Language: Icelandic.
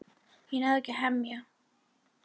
Ég náði ekki að hemla.